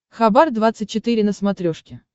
хабар двадцать четыре на смотрешке